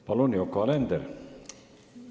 Palun, Yoko Alender!